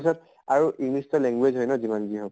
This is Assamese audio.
ত আৰু english তো language হয় ন যিমানে যি হৌক